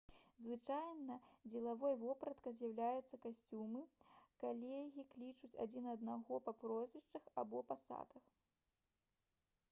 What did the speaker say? звычайнай дзелавой вопраткай з'яўляюцца касцюмы калегі клічуць адзін аднаго па прозвішчах або пасадах